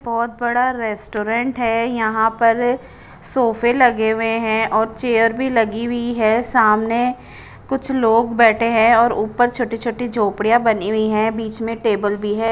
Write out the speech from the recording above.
बोत बड़ा रेस्टोरेंट है यहा पर सोफे लगे हुए है और चेयर भी लगी हुई है सामने कुछ लोग बेटे है और उपर छोटी छोटी जोपडिया बनी वि है बिच में टेबल भी है।